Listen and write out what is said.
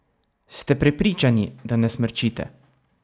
Ste prepričani, da ne smrčite?